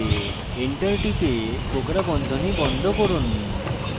enter টিপে কোঁকড়া বন্ধনী বন্ধ করুন